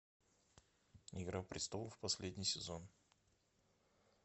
игра престолов последний сезон